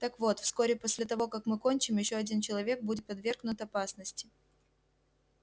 так вот вскоре после того как мы кончим ещё один человек будет подвергнут опасности